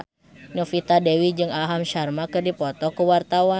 Novita Dewi jeung Aham Sharma keur dipoto ku wartawan